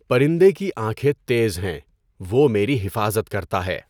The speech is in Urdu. پَرندہ کی آنکھیں تیز ہیں، وہ میری حفاظت کرتا ہے۔